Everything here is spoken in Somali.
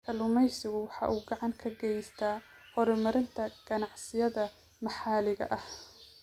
Kalluumaysigu waxa uu gacan ka geystaa horumarinta ganacsiyada maxaliga ah.